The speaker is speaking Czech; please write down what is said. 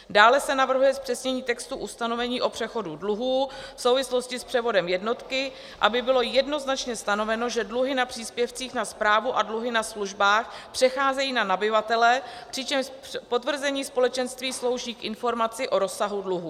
Dále se navrhuje zpřesnění textu ustanovení o přechodu dluhů v souvislosti s převodem jednotky, aby bylo jednoznačně stanoveno, že dluhy na příspěvcích na správu a dluhy na službách přecházejí na nabyvatele, přičemž potvrzení společenství slouží k informaci o rozsahu dluhu.